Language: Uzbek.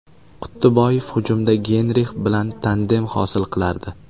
Quttiboyev hujumda Geynrix bilan tandem hosil qilardi.